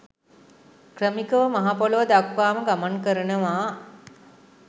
ක්‍රමිකව මහ පොළව දක්වාම ගමන් කරනවා.